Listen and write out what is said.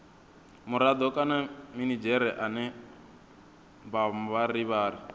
murado kana minidzhere ane mavharivhari